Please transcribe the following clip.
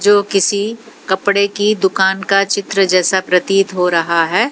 जो किसी कपड़े की दुकान का चित्र जैसा प्रतीत हो रहा है।